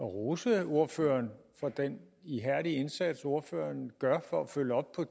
rose ordføreren for den ihærdige indsats ordføreren gør for at følge op på